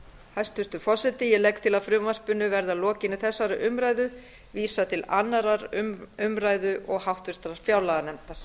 hæstvirtur forseti ég legg til að frumvarpinu verði að lokinni þessari umræðu vísað til annarrar umræðu og háttvirtrar fjárlaganefndar